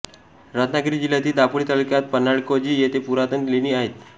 रत्नागिरी जिल्यातील दापोली तालुक्यात पन्हाळेकाजी येथे पुरातन लेणी आहेत